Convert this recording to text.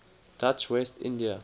dutch west india